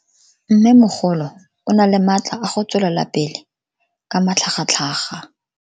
Mmemogolo o na le matla a go tswelela pele ka matlhagatlhaga.